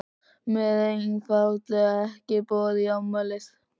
Mér er einfaldlega ekki boðið í afmælið.